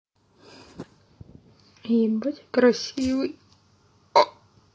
ебать красивый